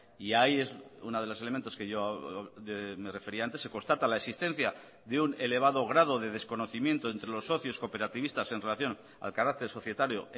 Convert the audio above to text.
y ahí es uno de los elementos que yo me refería antes se constata la existencia de un elevado grado de desconocimiento entre los socios cooperativistas en relación al carácter societario